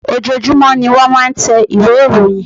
Ojoojumọ ní wọ́n máa ń tẹ ìwé ìròyìn.